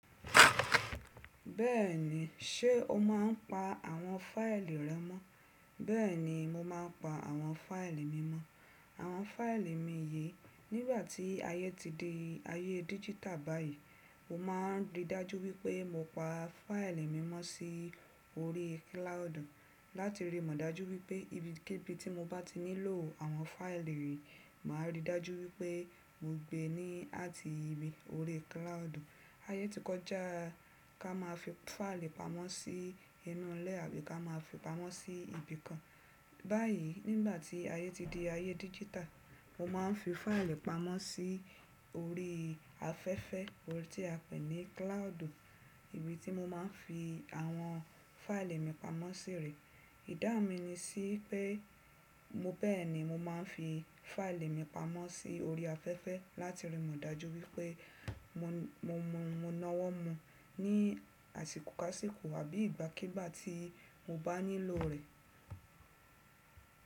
Bẹ́ẹ̀ni, ṣé o máa ń pa àwọn fáìlì rẹ mọ́? Bẹ́ẹ̀ni, mo máa ń pa àwọn fáìlì mi mọ́. Àwọn fáìlì mi yìí, nígbà tí ayé ti di ayé dígítà báyìí, mo máa ń rí dájú wípé mo pa fáìlì mi mọ́ sí orí kílàodu láti rí mọ̀ dájú wípé ibi kí ibi tí mo bá ti nílò àwọn fáìlì yìí, màá rí dájú wípé mo gbe ní àti ibi orí kílàodu. Ayé tí kọjá ká máa fi fáìlì pamọ́ sí inú ilé àbí ká máa fi pamọ́ sí ibi kan. Báyìí, nígbà tí ayé ti di ayé dígítà, mo máa ń fi fáìlì pamọ́ sí orí afẹ́fẹ́, ohun tí a pè ní kílàádì, ibi tí mo máa ń fi àwọn fáìlì mi pamọ́ sírì. Ìdá mi ni sí pé mo bẹ́ẹ̀ni mo máa ń fi fáìlì mi pamọ́ sí orí afẹ́fẹ́ láti rí mọ̀ dájú wípé mo mọ̀, mo nawọ́ mọ̀ ní àsìkò kásìkò àbí ìgbàkígbà tí mo bá nílò rẹ̀.